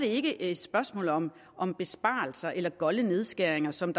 ikke et spørgsmål om om besparelser eller golde nedskæringer som